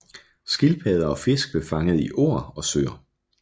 Skildpadder og fisk blev fanget i åer og søer